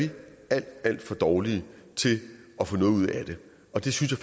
alt for dårlige til at få noget ud af det og det synes